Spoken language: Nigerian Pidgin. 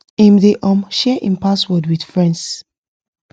him dey um share him password with friends